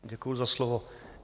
Děkuji za slovo.